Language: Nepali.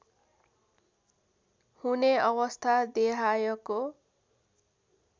हुने अवस्था देहायको